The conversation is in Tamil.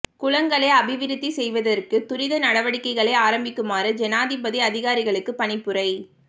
குளங்களை அபிவிருத்தி செய்வதற்கு துரித நடவடிக்கைகளை ஆரம்பிக்குமாறு ஜனாதிபதி அதிகாரிகளுக்கு பணிப்புரை